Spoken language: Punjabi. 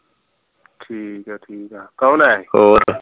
ਠੀਕ ਹੈ ਠੀਕ ਹੈ ਕੌਣ ਆਯਾ ਸੀ